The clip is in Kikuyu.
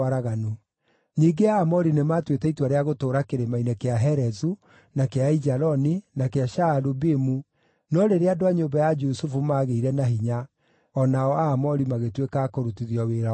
Ningĩ Aamori nĩmatuĩte itua rĩa gũtũũra Kĩrĩma-inĩ kĩa Herezu, na kĩa Aijaloni, na kĩa Shaalubimu, no rĩrĩa andũ a nyũmba ya Jusufu maagĩire na hinya, o nao Aamori magĩtuĩka a kũrutithio wĩra wa hinya.